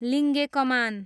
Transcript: लिङ्गे कमान